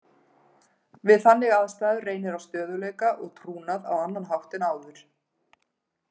Við þannig aðstæður reynir á stöðugleika og trúnað á annan hátt en áður.